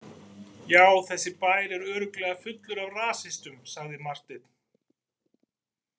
Já, þessi bær er örugglega fullur af rasistum, sagði Marteinn.